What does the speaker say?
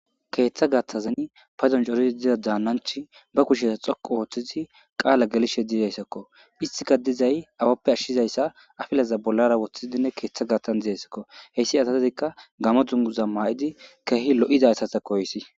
Keeththa gathazin pazon corizi diza daannanch ba kushesa xoqu ooththizi qaala gelishe dizayssakko istika dizay awappe ashshizayssa afilaza bollara woththidinne keeththa gaattan dizayssakko heyssi ataadikka gamo dunguza maa'idi keehi lo'izayssata koyissi.